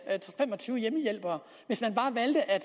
fem og tyve hjemmehjælpere hvis man bare valgte at